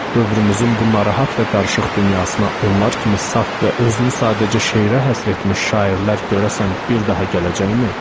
Dövrümüzün bu narahat və qarışıq dünyasına onlar kimi saf və özünü sadəcə şeirə həsr etmiş şairlər görəsən bir daha gələcəkmi?